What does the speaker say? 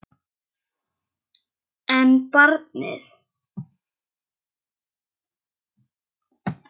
En barnið?